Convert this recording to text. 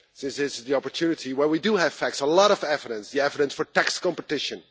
This is the opportunity where we do have facts and a lot of evidence the evidence for tax competition.